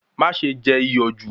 Má ṣe jẹ iyọ̀ jù